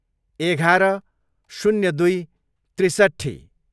एघार, शून्य दुई, त्रिसट्ठी